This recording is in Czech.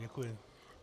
Děkuji.